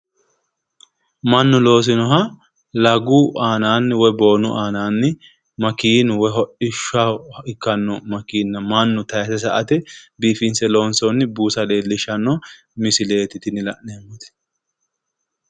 Mannu loosinaha lagu aananni woy boonu aananni makeennu woy hodhishshaho ikkanno makeenna mannu tayiise sa"ate biifinse loonsoonni buusa leellishshanno misileeti la'neemmoti